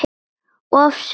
Of seint